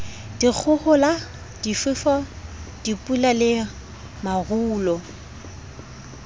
dikgohola difefo dipula le marole